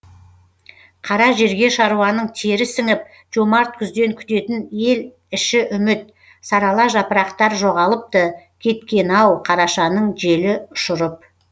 қара жерге шаруаның тері сіңіп жомарт күзден күтетін ел іші үміт сарала жапырақтар жоғалыпты кеткен ау қарашаның желі ұшырып